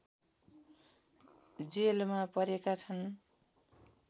जेलमा परेका छन्